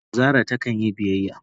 Zara ta kan yi biyyaya.